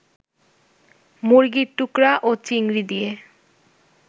মুরগির টুকরা ও চিংড়ি দিয়ে